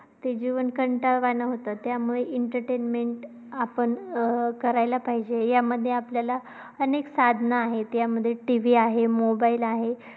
ते जीवन कंटाळवाण होतं. त्यामुळे entertainment आपण अं करायला पाहिजे. यामध्ये आपल्याला अनेक साधने आहे. त्यामध्ये TV आहे, mobile आहे.